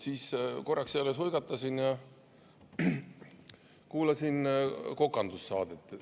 Siis korraks jälle suigatasin ja kuulasin kokandussaadet.